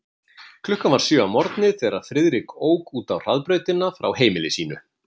Klukkan var sjö að morgni, þegar Friðrik ók út á hraðbrautina frá heimili sínu.